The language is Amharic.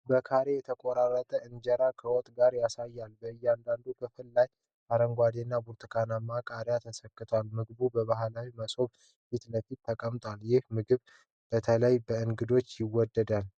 በካሬ የተቆረጠ እንጀራን ከወጥ ጋር ያሳያል። በእያንዳንዱ ክፍል ላይ አረንጓዴ እና ብርቱካናማ ቃሪያዎች ተሰክተዋል። ምግቡ በባህላዊ መሶብ ፊት ለፊት ተቀምጧል። ይህ ምግብ በተለይ በእንግዶች ይወደዳል?